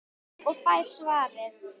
Og fær svarið